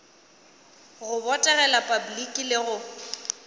go botegela repabliki le go